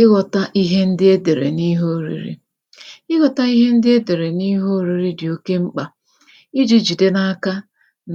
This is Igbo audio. ịghọ̄ta ihe ndị e dèrè n’ihe ōriri ịghọ̄ta ihe ndị e dèrè n’ihe ōriri dị̀ oke mkpà ijī jìde n’aka